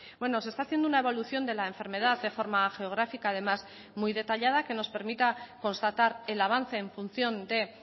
bueno se está haciendo una evolución de la enfermedad de forma geográfica además muy detallada que nos permita constatar el avance en función de